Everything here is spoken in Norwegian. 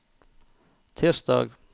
tirsdag